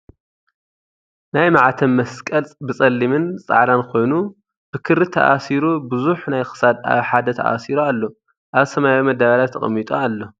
ናይ ማዕተብ መስቀል ብፀሊምን ፃዕዳን ኮይኑ ብ ክሪ ተኣሲሩ ብዙሕ ናይ ክሳድ ኣብ ሓደ ተኣሲሩ ኣሎ ። ኣብ ሰማያዊ መዳበርያ ተቀሚጡ ኣሎ ።